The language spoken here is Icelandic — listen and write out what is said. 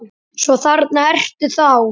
Svo þarna ertu þá!